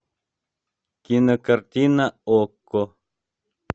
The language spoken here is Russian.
кинокартина окко